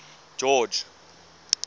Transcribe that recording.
george